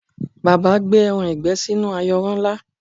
Bàbá gbé ẹran ìgbẹ́ sínú ayanran ńlá